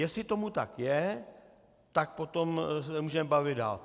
Jestli tomu tak je, tak potom se můžeme bavit dál.